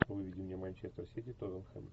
выведи мне манчестер сити тоттенхэм